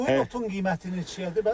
Bu otun qiyməti neçəyədir bəs?